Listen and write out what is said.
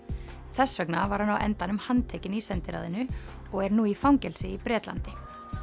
þess vegna var hann á endanum handtekinn í sendiráðinu og er nú í fangelsi í Bretlandi